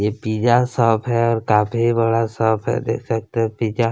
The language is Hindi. यह पिज़्ज़ा शॉप है और काफ़ी बड़ा शॉप है देख सकते है पिज़्ज़ा --